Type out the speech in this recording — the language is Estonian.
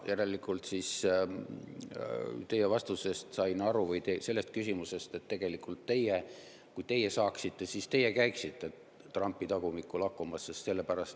Järelikult, nagu ma teie küsimusest aru saan, kui teie saaksite, siis teie käiksite Trumpi tagumikku lakkumas.